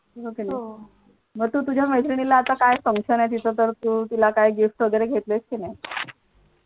म तू तुझ्या मैत्रिणीला आता काय function आहे तिचं तर तू तिला gift वगैरे घेतलयस की नाही.